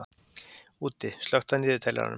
Úddi, slökktu á niðurteljaranum.